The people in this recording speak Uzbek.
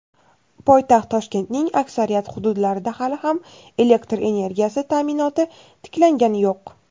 Poytaxt Toshkentning aksariyat hududlarida hali ham elektr energiyasi ta’minoti tiklangani yo‘q.